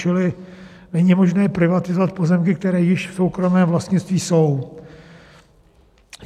Čili není možné privatizovat pozemky, které již v soukromém vlastnictví jsou.